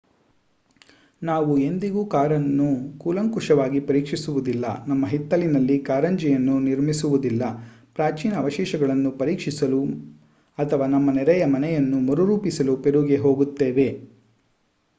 ನಾವು ಎಂದಿಗೂ ಕಾರನ್ನು ಕೂಲಂಕಷವಾಗಿ ಪರೀಕ್ಷಿಸುವುದಿಲ್ಲ ನಮ್ಮ ಹಿತ್ತಲಿನಲ್ಲಿ ಕಾರಂಜಿಯನ್ನು ನಿರ್ಮಿಸುವುದಿಲ್ಲ ಪ್ರಾಚೀನ ಅವಶೇಷಗಳನ್ನು ಪರೀಕ್ಷಿಸಲು ಅಥವಾ ನಮ್ಮ ನೆರೆಯ ಮನೆಯನ್ನು ಮರುರೂಪಿಸಲು ಪೆರುಗೆ ಹೋಗುತ್ತೇವೆ